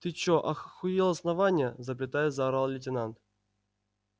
ты чё аххуел основания запятая заорал лейтенант